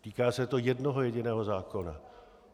Týká se to jednoho jediného zákona.